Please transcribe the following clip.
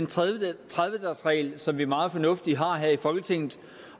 tredive tredive dagesreglen som vi meget fornuftigt har her i folketinget